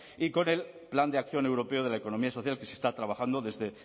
y con el plan de acción europeo de la economía social que se está trabajando desde